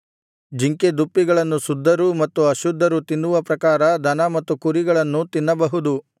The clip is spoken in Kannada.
ಜಿಂಕೆದುಪ್ಪಿಗಳನ್ನು ಶುದ್ಧರೂ ಮತ್ತು ಅಶುದ್ಧರೂ ತಿನ್ನುವ ಪ್ರಕಾರ ದನ ಮತ್ತು ಕುರಿಗಳನ್ನೂ ತಿನ್ನಬಹುದು